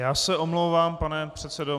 Já se omlouvám, pane předsedo.